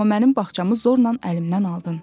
Amma mənim bağçamı zorla əlimdən aldın.